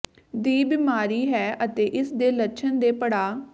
ਦੀ ਬਿਮਾਰੀ ਹੈ ਅਤੇ ਇਸ ਦੇ ਲੱਛਣ ਦੇ ਪੜਾਅ